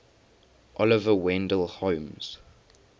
oliver wendell holmes